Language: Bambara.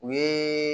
U ye